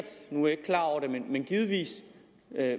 givetvis